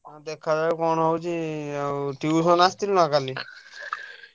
ଦେଖାଯାଉ କଣ ହଉଛି ଆଉ tuition ଆସିଥିଲୁ ନା କାଲି?